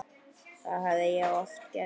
Það hafði ég oft gert.